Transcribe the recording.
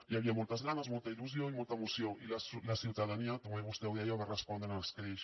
hi havia moltes ganes molta il·lusió i molta emoció i la ciutadania també vostè ho deia va respondre amb escreix